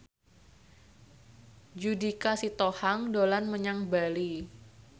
Judika Sitohang dolan menyang Bali